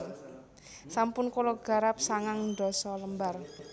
Sampun kulo garap sangang ndasa lembar